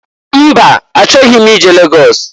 Mba! Achọghị m ije Lagọs.